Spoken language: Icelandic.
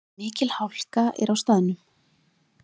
Mikil hálka er á staðnum